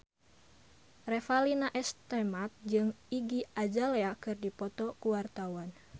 Revalina S. Temat jeung Iggy Azalea keur dipoto ku wartawan